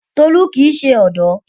Tolu kii ṣe ọdọ